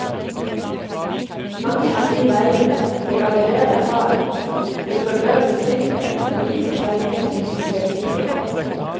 Mange av de veiene vi allerede har, blir for øvrig tildelt for lite penger til vedlikehold.